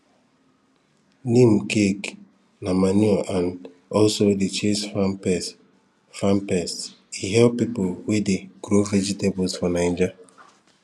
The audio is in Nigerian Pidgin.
neem cake na manure and also dey chase farm pests farm pests e help people wey dey grow vegetable for naija